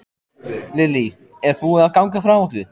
Lillý, er búið að ganga frá öllu?